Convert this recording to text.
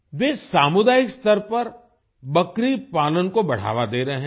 वे सामुदायिक स्तर पर बकरी पालन को बढ़ावा दे रहे हैं